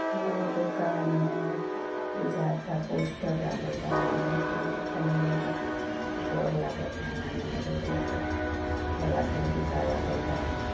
है यह दुकान ह बुझाता पोस्टर लागल बा एने ग्रिल खानि वो घर लागता उन रोड पर ठेला खली दुकान लागल बा।